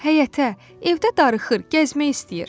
"Həyətə, evdə darıxır, gəzmək istəyir."